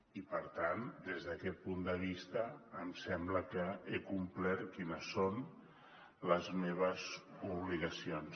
i per tant des d’aquest punt de vista em sembla que he complert les que són les meves obligacions